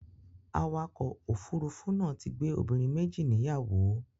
Awakọ̀ òfurufú náà ti gbé obìnrin méjì níyàwó.